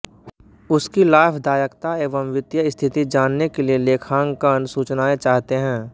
उस की लाभदायकता एवं वित्तीय स्थिति जानने के लिए लेखांकन सूचनाएं चाहते हैं